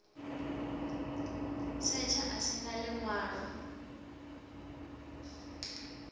setsha a si na ḽiṅwalo